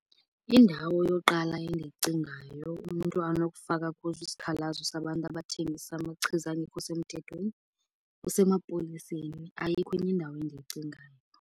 Indawo yoqala endiyicingayo umntu anokufaka kuzo isikhalazo sabantu abathengisa amachiza angekho semthethweni kusemapoliseni. Ayikho enye indawo endiyicingayo.